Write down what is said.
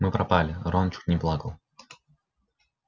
мы пропали рон чуть не плакал